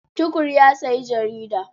Tukur ya sayi jarida.